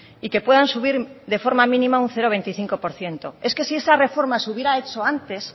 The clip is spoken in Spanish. y que puedan subir de forma mínima un cero coma veinticinco por ciento es que si esa reforma se hubiera hecho antes